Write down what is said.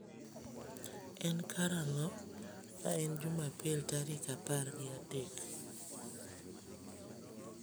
En karang'o ma en jumapil tarik apar gi adek